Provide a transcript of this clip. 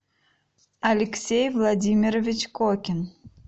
алексей владимирович кокин